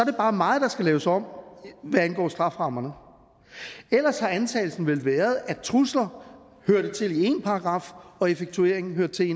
bare meget der skal laves om hvad angår strafferammerne ellers har antagelsen vel været at trusler hørte til i en paragraf og effektueringen hørte til